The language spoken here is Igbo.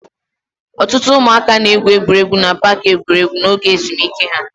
Ọtụtụ ụmụaka na-egwuri egwu na paaki egwuregwu n'oge ezumike ha.